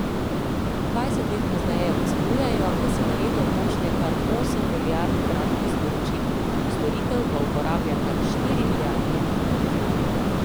Dvajset let pozneje ocenjujejo, da se na leto pošlje kar osem milijard kratkih sporočil, storitev pa uporablja kar štiri milijarde ljudi.